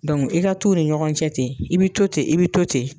i ka t'u ni ɲɔgɔn cɛ ten i bɛ to ten i bɛ to ten.